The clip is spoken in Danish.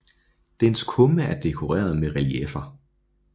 Dens kumme er dekoreret med relieffer